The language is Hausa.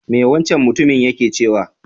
Me wancan mutumin yake cewa?